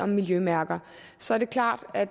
miljømærker så er det klart at